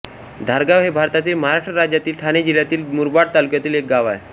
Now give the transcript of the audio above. धारगाव हे भारतातील महाराष्ट्र राज्यातील ठाणे जिल्ह्यातील मुरबाड तालुक्यातील एक गाव आहे